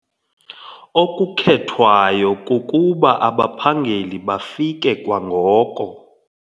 Okukhethwayo kukuba abaphangeli bafike kwangoko.